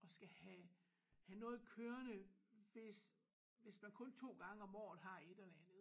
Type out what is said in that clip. At skal have have noget kørende hvis hvis man kun 2 gange om året har et eller andet